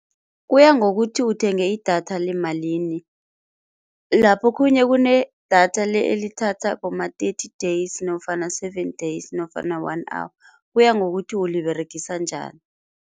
Kuya ngokuthi uthenge i-data lemalini. Lapho khunye kune-data elithatha boma-thirty days nofana seven days nofana one hour, kuya ngokuthi uliberegisa njani.